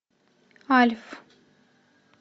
альф